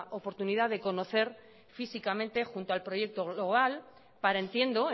oportunidad de conocer físicamente junto al proyecto global para entiendo